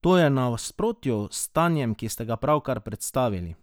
To je v nasprotju s stanjem, ki ste ga pravkar predstavili.